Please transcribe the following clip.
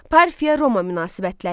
Parfiya Roma münasibətləri.